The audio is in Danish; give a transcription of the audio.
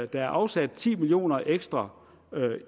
der er afsat ti million kroner ekstra